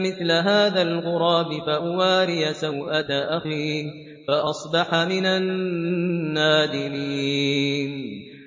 مِثْلَ هَٰذَا الْغُرَابِ فَأُوَارِيَ سَوْءَةَ أَخِي ۖ فَأَصْبَحَ مِنَ النَّادِمِينَ